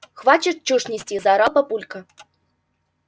хватит чушь нести заорал папулька